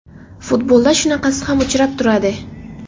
Futbolda shunaqasi ham uchrab turadi.